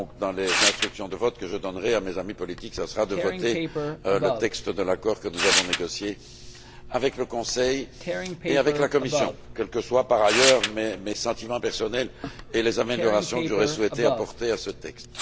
Donc, dans les instructions de vote que je donnerai à mes amis politiques, je leur conseillerai de voter pour le texte de l'accord que nous avons négocié avec le Conseil et avec la Commission, quels que soient par ailleurs mes sentiments personnels et les améliorations que j'aurais souhaité apporter à ce texte.